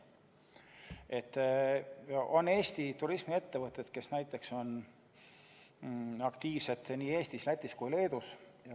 On Eesti turismiettevõtteid, kes on aktiivsed nii Eestis, Lätis kui ka Leedus.